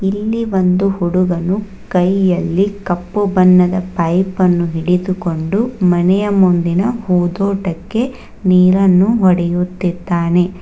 ಇಲ್ಲಿ ಒಂದು ಹುಡುಗನು ಕೈಯಲ್ಲಿ ಕಪ್ಪು ಬಣ್ಣದ ಪೈಪ್ ಅನ್ನು ಹಿಡಿದುಕೊಂಡು ಮನೆಯ ಮುಂದಿನ ಹೂದೋಟಕ್ಕೆ ನೀರನ್ನು ಒಡೆಯುತ್ತಿದ್ದಾನೆ.